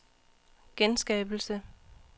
genskabelse